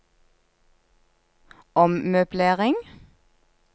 ommøblering